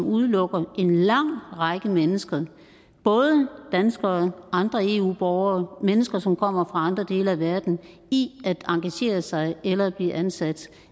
udelukker en lang række mennesker både danskere andre eu borgere mennesker som kommer fra andre dele af verden i at engagere sig eller at blive ansat